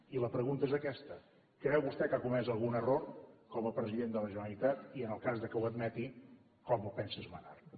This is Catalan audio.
i la pregunta és aquesta creu vostè que ha comès algun error com a president de la generalitat i en el cas que ho admeti com pensa esmenar lo